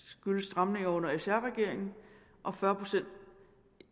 skyldes stramninger under sr regeringen og fyrre procent